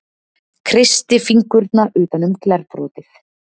Kreisti fingurna utan um glerbrotið.